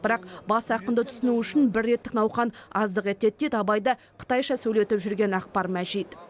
бірақ бас ақынды түсіну үшін бір реттік науқан аздық етеді дейді абайды қытайша сөйлетіп жүрген ақбар мәжит